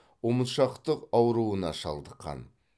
ұмытшақтық ауруына шалдыққан